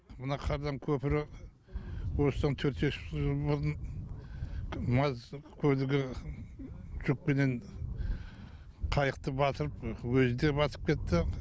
мына қардан көпірі осыдан төрт бес жыл бұрын маз көлігі жүкпенен қайықты батырып өзі де батып кетті